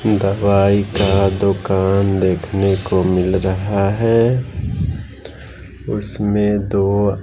दवाई का दुकान देखने को मिल रहा है उसमें दो--